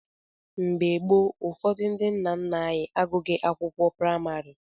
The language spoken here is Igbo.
Mgbe gboo, ụfọdụ ndị nna nna anyị agụghị akwụkwọ praịmarị.